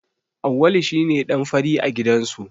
Auwalu shi ne ɗan fari a gidansu.